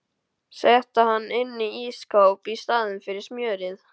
Setti hann inn í ísskáp í staðinn fyrir smjörið.